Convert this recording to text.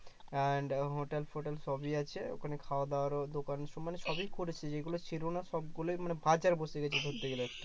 and ওখানে hotel -ফোটেল সবই আছে ওখানে খাওয়া-দাওয়ারও দোকান মানে সবই করেছে যেগুলা ছিল না সবগুলাই মানে বাজার বসে গেছে বলতে গেলে